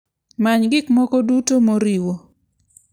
Many gik moko duto moriwo.